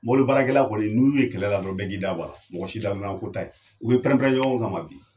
Mɔbilibaarakɛla kɔni n'i y'u ye kɛlɛ la dɔrɔn bɛɛ ki da bɔ a la, mɔgɔ si dadɔna ko ta ye, u bi pɛnrɛn pɛnrɛn na ɲɔgɔn kama ma de.